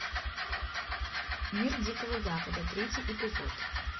мир дикого запада третий эпизод